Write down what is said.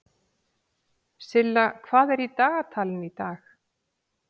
Silla, hvað er í dagatalinu í dag?